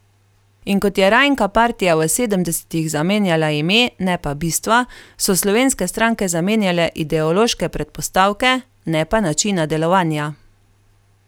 In kot je rajnka partija v sedemdesetih zamenjala ime, ne pa bistva, so slovenske stranke zamenjale ideološke predpostavke, ne pa načina delovanja.